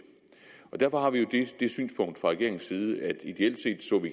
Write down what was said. derfor har vi jo det synspunkt fra regeringens side at vi ideelt set